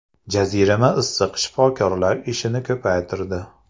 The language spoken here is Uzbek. Jazirama issiq shifokorlar ishini ko‘paytirdi.